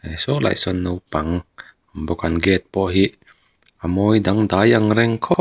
saw lai sawn naupang bawk an gate pawh hi a mawi dangdai ang reng khawp--